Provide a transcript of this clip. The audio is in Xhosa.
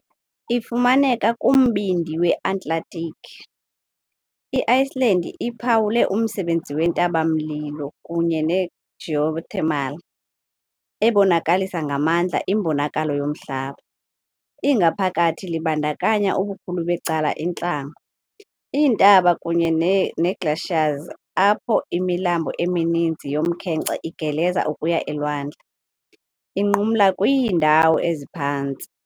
Ifumaneka kumbindi we-Atlantiki, i-Iceland iphawule umsebenzi wentaba-mlilo kunye ne-geothermal, ebonakalisa ngamandla imbonakalo yomhlaba. Ingaphakathi libandakanya ubukhulu becala intlango, iintaba kunye ne-glaciers, apho imilambo emininzi yomkhenkce igeleza ukuya elwandle, inqumla kwiindawo eziphantsi .